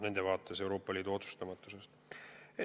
Nende arvates on Euroopa Liit oma otsustega saamatu olnud.